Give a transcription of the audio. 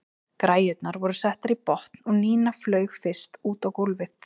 Græjurnar voru settar í botn og Nína flaug fyrst út á gólfið.